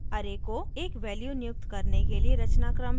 array को एक value नियुक्त करने के लिए रचनाक्रम है